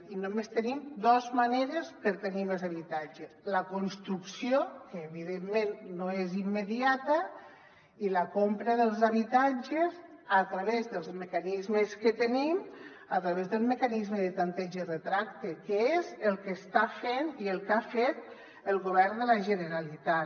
i només tenim dos maneres per tenir més habitatge la construcció que evidentment no és immediata i la compra dels habitatges a través dels mecanismes que tenim a través del mecanisme de tanteig i retracte que és el que està fent i el que ha fet el govern de la generalitat